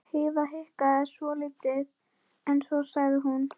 Heiða hikaði svolítið en svo sagði hún